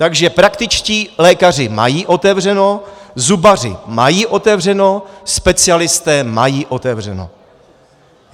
Takže praktičtí lékaři mají otevřeno, zubaři mají otevřeno, specialisté mají otevřeno.